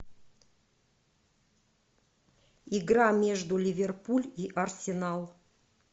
игра между ливерпуль и арсенал